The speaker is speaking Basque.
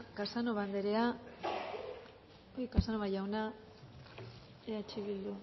casanova jauna eh bilduren